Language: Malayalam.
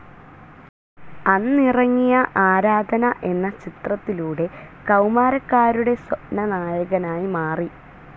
അന്നിറങ്ങിയ ആരാധന എന്ന ചിത്രത്തിലൂടെ കൌമാരക്കാരുടെ സ്വപ്നനായകനായി മാറി.